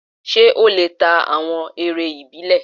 Ṣé ó lè ta awọn eré ìbílẹ̀?